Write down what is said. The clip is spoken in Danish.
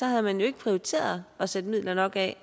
havde man jo ikke prioriteret at sætte midler nok af